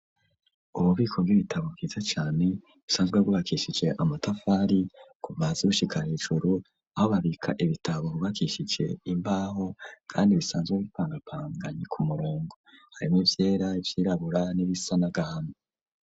Ububiko bw'ibitabo bwiza cane busanzwe bwubakishije amatafari kuva hasi gushika hejuru aho babika ibitabo bubakishije imbaho kandi bisanzwe bipangapanganye ku murongo harimo vyera vyirabura n'ibisanagahame.